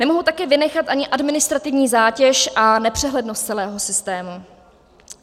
Nemohu také vynechat ani administrativní zátěž a nepřehlednost celého systému.